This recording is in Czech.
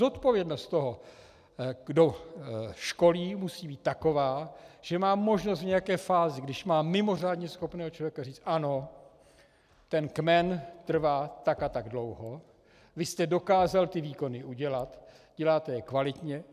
Zodpovědnost toho, kdo školí, musí být taková, že mám možnost v nějaké fázi, když mám mimořádně schopného člověka, říct: Ano, ten kmen trvá tak a tak dlouho, vy jste dokázal ty výkony udělat, děláte je kvalitně.